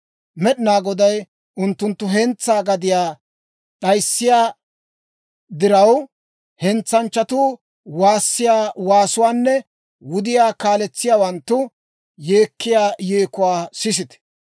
Med'inaa Goday unttunttu hentsaa gadiyaa d'ayissiyaa diraw, hentsanchchatuu waassiyaa waasuwaanne wudiyaa kaaletsiyaawanttu yeekkiyaa yeekuwaa sisite.